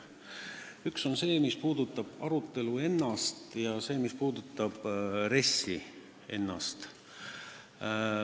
Üks puudutab seda arutelu ja RES-i ennast.